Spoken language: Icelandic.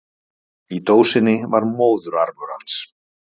Í dósinni var móðurarfur hans.